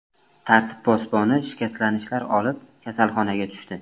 Tartib posboni shikastlanishlar olib, kasalxonaga tushdi.